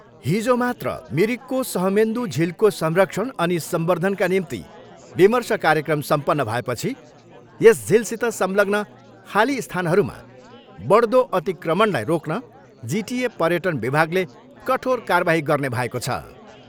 हिजो मात्र मिरिकको सहमेन्दू झिलको संरक्षण अनि सम्बर्द्धनका निम्ति विमर्श कार्यक्रम सम्पन्न भएपछि यस झिलसित संलग्न खाली स्थानहरूमा बढ्दो अतिक्रमणलाई रोक्न जिटिए पर्यटन विभागले कठोर कारबाही गर्ने भएको छ।